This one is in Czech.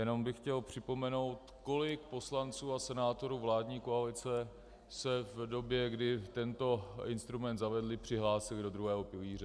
Jenom bych chtěl připomenout, kolik poslanců a senátorů vládní koalice se v době, kdy tento instrument zavedli, přihlásilo do druhého pilíře.